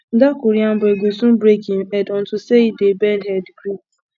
dat korean boy go soon break im head unto say he dey bend head greet